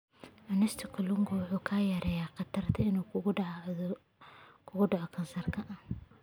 Cunista kalluunka waxay yaraynaysaa khatarta ah inuu ku dhaco kansarka.